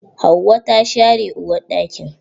Hauwa ta share uwarɗakin.